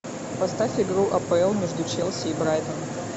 поставь игру апл между челси и брайтон